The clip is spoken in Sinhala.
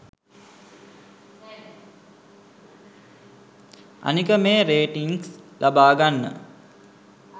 අනික මේ රේටින්ග්ස් ලබා ගන්න